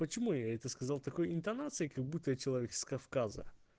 почему я это сказал такой интонацией как будто я человек с кавказа